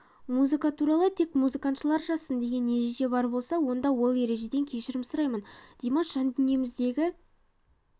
музыка туралы тек музыкатанушылар жазсын деген ереже бар болса мен ол ережеден кешірім сұраймын димаш жандүниеміздегі